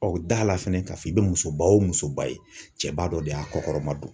da la fɛnɛ k'a fɔ i bɛ musoba o musoba ye, cɛba dɔ de y'a kɔkɔrɔma don.